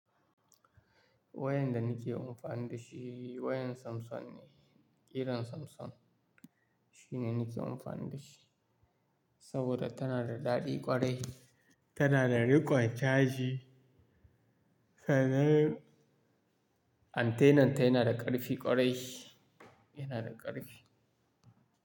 Wayan da nake amfani da shi wayan Samsung ne, irin Samsung shine nake amfani da shi. Saboda tana da daɗi ƙwarai, tana da riƙon caji, sannan antenna ta yana da ƙarfi ƙwarai, yana da ƙarfi.